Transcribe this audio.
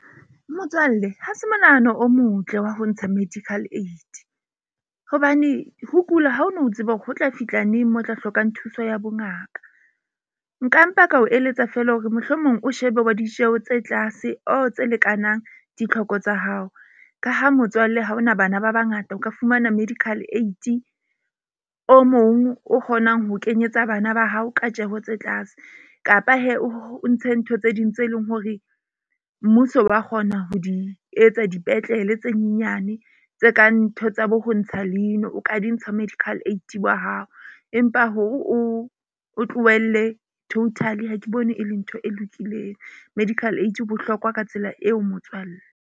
Motswalle ha se monahano o motle wa ho ntsha medical aid. Hobane ho kula ha o no tseba hore ho tla fihla neng mo tla hlokang thuso ya bongaka. Nka mpa ka o eletsa feela hore mohlomong o shebe wa ditjeho tse tlase or tse lekanang ditlhoko tsa hao. Ka ha motswalle ha ona bana ba bangata, o ka fumana medical aid-i o mong o kgonang ho kenyetsa bana ba hao ka tjeho tse tlase. Kapa o ntshe ntho tse ding tse leng hore mmuso wa kgona ho di etsa dipetlele, tse nyane tse kang ntho tsa bo ho ntsha leino, o ka di ntsha medical aid wa hao. Empa hore o tlohelle total ha ke bone e le ntho e lokileng, medical aid o bohlokwa ka tsela eo motswalle.